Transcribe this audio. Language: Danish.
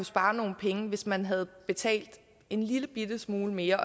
sparet nogle penge hvis man havde betalt en lillebitte smule mere